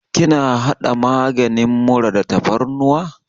Kina haɗa maganin mura da tafarnuwa?